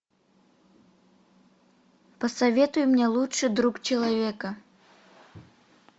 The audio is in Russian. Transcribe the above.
посоветуй мне лучший друг человека